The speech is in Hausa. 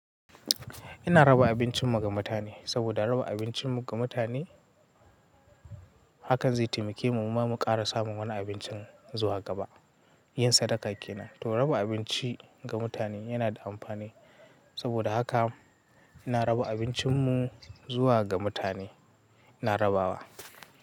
Ina raba abincin mu ga mutane, saboda raba abincin mu ga mutane hakan zai taimake mu, muma mu ƙara samun wani abincin zuwa gaba. Yin sadaka kenan, to raba abinci ga mutane yana da amfani, saboda haka ina raba abincin mu zuwa ga mutane, ina rabawa.